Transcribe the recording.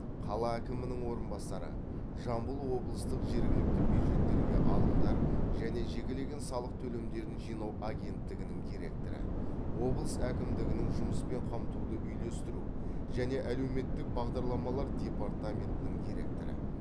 қала әкімінің орынбасары жамбыл облыстық жергілікті бюджеттерге алымдар және жекелеген салық төлемдерін жинау агенттігінің директоры облыс әкімдігінің жұмыспен қамтуды үйлестіру және әлеуметтік бағдарламалар департаментінің директоры